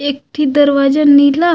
एक ठी दरवाजा नीला--